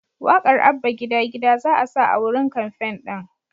Waƙar “Abba Gida Gida" za'a sa a wurin kamfen ɗin.